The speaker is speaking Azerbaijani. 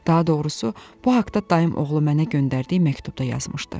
Daha doğrusu, bu haqda dayım oğlu mənə göndərdiyi məktubda yazmışdı.